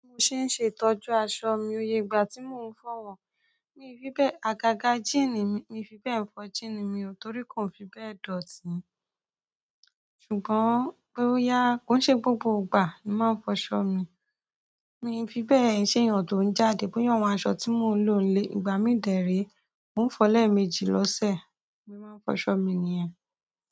Bi mo ṣe ń ṣe ìtọ́jú aṣọ mi, óye, ìgbà tí mo ń fọ̀ wọ̀n, mi fi bẹ́ẹ̀, àgàgà jean mi o fi bẹ́ẹ̀ ń fọ jean mi torí kò n fi bẹ́ẹ̀ dọ̀tí. Ṣùgbọ́n pe boya-- ko n se gbogbo ìgbà ni mo maa n foso mi mi i fi bẹ́ẹ̀ ń ṣe èèyàn tó ń jáde, bọ́yà àwọn aṣọ tí mo ń lò nílé. Ìgbà mi dè re, mò ń fọ lẹeméjì lọ́sẹ̀, bi mo se máa ń fọ aṣọ mi nìyẹn.